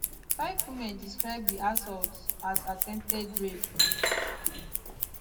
five women describe di assaults as attempted rape